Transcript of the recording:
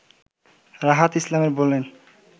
রাহাত ইসলাম বলেন